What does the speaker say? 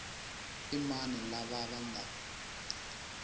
i mani lava va nga